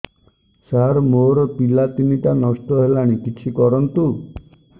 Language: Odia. ସାର ମୋର ପିଲା ତିନିଟା ନଷ୍ଟ ହେଲାଣି କିଛି କରନ୍ତୁ